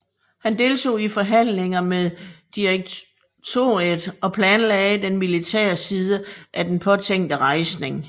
Han deltog i forhandlinger med direktoriet og planlagde den militære side af den påtænkte rejsning